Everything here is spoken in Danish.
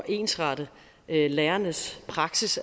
ensrette lærernes praksis